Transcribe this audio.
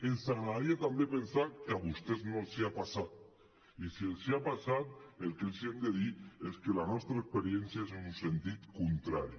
ens agradaria també pensar que a vostès no els ha passat i si els ha passat el que els hem de dir és que la nostra experiència és en un sentit contrari